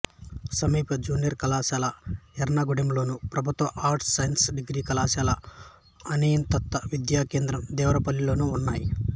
సమీప జూనియర్ కళాశాల యెర్నగూడెంలోను ప్రభుత్వ ఆర్ట్స్ సైన్స్ డిగ్రీ కళాశాల అనియత విద్యా కేంద్రం దేవరపల్లిలోనూ ఉన్నాయి